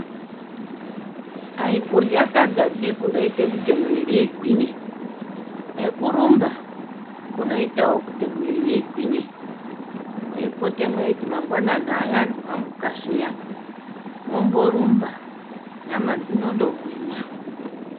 Ayi kurya sadza pi kunoite kuti mwiri igwinye nekurumba kunoitawo kuti mwiri igwinye. Mweipote mweiti mangwanani ayani mwamuka zviyani mwomborumba nyama dzinondogwinya.